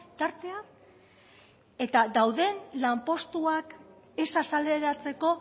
tartea eta dauden lanpostuak ez azaleratzeko